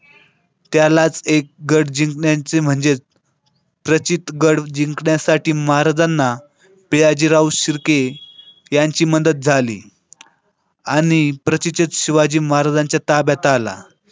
त्यालाच एक गड जिंकण्याचे म्हणजेच. प्रचितगड जिंकण्यासाठी महाराजांना पियाजीराव शिर्के त्यांची मदत झाली. आणि प्रचितीत शिवाजी महाराजांच्या ताब्यात आला.